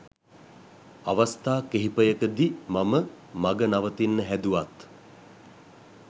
අවස්ථා කිහිපයකදි මම මග නවතින්න හැදුවත්